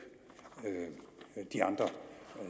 de andre